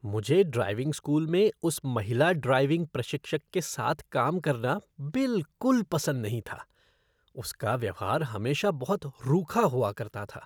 मुझे driving school में उस महिला ड्राइविंग प्रशिक्षक के साथ काम करना बिलकुल पसंद नहीं था। उसका व्यवहार हमेशा बहुत रूखा हुआ करता था।